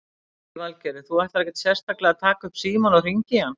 Lillý Valgerður: Þú ætlar ekkert sérstaklega að taka upp símann og hringja í hann?